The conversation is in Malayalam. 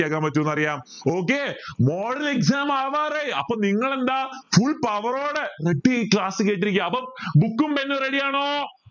കേക്കാൻ പറ്റുന്നറിയ okay model exam ആവാറായി അപ്പൊ നിങ്ങൾ എന്താ full power on ready class കേട്ടിരിക്ക അപ്പൊ book pen ready ആണോ